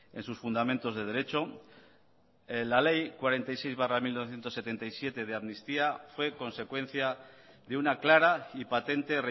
en sus fundamentos de derecho la ley cuarenta y seis barra mil novecientos setenta y siete de amnistía fue consecuencia de una clara y patente